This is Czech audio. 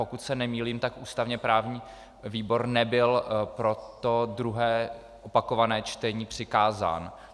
Pokud se nemýlím, tak ústavně-právní výbor nebyl pro to druhé opakované čtení přikázán.